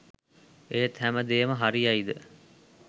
ඒත් හැම දේම හරියයිද